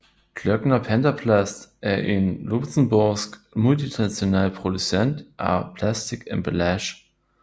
Klöckner Pentaplast er en luxembourgsk multinational producent af plastikemballage